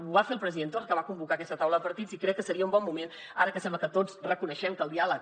ho va fer el president torra que va convocar aquesta taula de partits i crec que seria un bon moment ara que sembla que tots reconeixem que el diàleg